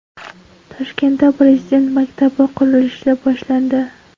Toshkentda Prezident maktabi qurilishi boshlandi.